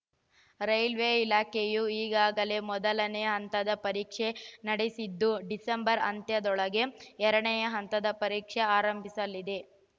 railway ಇಲಾಖೆಯು ಈಗಾಗಲೇ ಮೊದಲನೆ ಹಂತದ ಪರೀಕ್ಷೆ ನಡೆಸಿದ್ದು ಡಿಸೆಂಬರ್‌ ಅಂತ್ಯದೊಳಗೆ ಎರಡನೇ ಹಂತದ ಪರೀಕ್ಷೆ ಆರಂಭಿಸಲಿದೆ